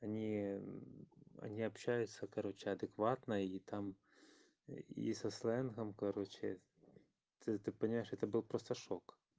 они общаются короче адекватна или там и со сленгом короче ты понимаешь это был просто шок